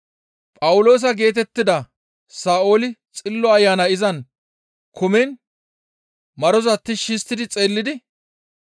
Phawuloosa geetettida Sa7ooli Xillo Ayanay izan kumiin maroza tishshi histti xeellidi,